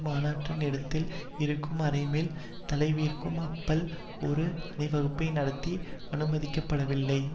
மாநாட்டு இடத்தில் இருந்து அரைமைல் தொலைவிற்கும் அப்பல் ஒரு அணிவகுப்பை நடத்த அனுமதிக்கப்படவில்லை